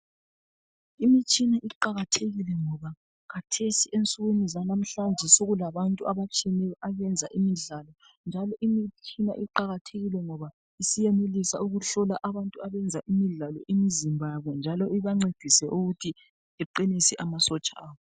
Imitshina iqakathekile ngoba khathesi ensukwini zalamuhlanje sokulabantu a abatshiyeneyo abenza imidlalo. Njalo imitshina iqakathekile ngoba siyenelisa ukuhlola abantu abenza imidlalo imzimba yabo. Njalo ibancedise ukuthi beqinise amasotsha abo.